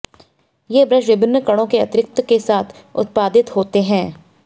ये ब्रश विभिन्न कणों के अतिरिक्त के साथ उत्पादित होते हैं